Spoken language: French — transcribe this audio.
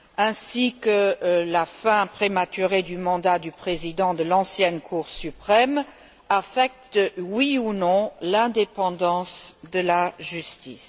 ainsi que la fin prématurée du mandat du président de l'ancienne Cour suprême, affectent oui ou non l'indépendance de la justice.